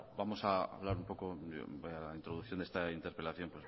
bueno vamos a hablar un poco de la introducción de esta interpelación